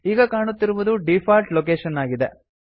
ಈಗ ಕಾಣುತ್ತಿರುವುದು default location ಆಗಿದೆ